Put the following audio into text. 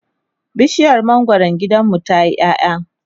bishiyar mangwaron gidanmu tayi ƴaƴa